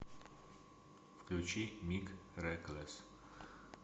включи мик реклесс